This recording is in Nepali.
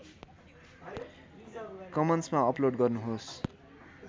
कमन्समा अपलोड गर्नुहोस्